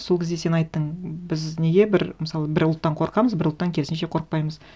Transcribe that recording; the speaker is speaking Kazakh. сол кезде сен айттың біз неге бір мысалы бір ұлттан қорқамыз бір ұлттан керісінше қорықпаймыз